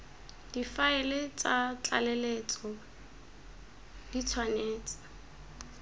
difaele tsa tlaleletso di tshwanetse